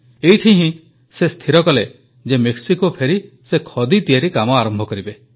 ଏଇଠି ହିଁ ସେ ସ୍ଥିର କଲେ ଯେ ମେକ୍ସିକୋ ଫେରି ସେ ଖଦୀ ତିଆରି କାମ ଆରମ୍ଭ କରିବେ